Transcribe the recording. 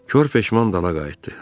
Kor peşman dala qayıtdı.